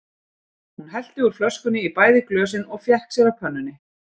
Hún hellti úr flöskunni í bæði glösin og fékk sér af pönnunni.